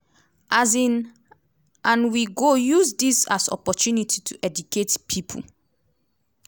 um and we go use dis as opportunity to educate pipo.